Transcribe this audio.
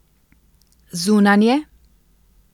Zunanje?